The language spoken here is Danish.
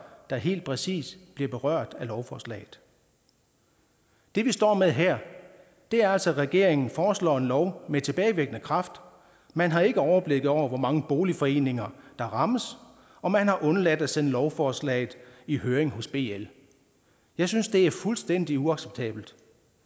der helt præcis bliver berørt af lovforslaget det vi står med her er altså at regeringen foreslår en lov med tilbagevirkende kraft man har ikke overblik over hvor mange boligforeninger der rammes og man har undladt at sende lovforslaget i høring hos bl jeg synes det er fuldstændig uacceptabelt